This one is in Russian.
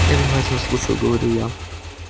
я внимательно слушаю говорю я